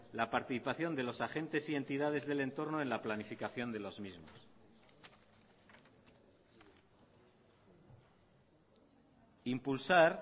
la participación de los agentes y entidades del entorno en la planificación de los mismos impulsar